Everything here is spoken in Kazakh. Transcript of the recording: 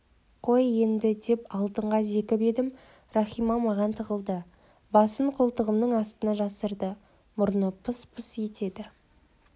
қой енді деп алтынға зекіп едім рахима маған тығылды басын қолтығымның астына жасырды мұрны пыс-пыс етеді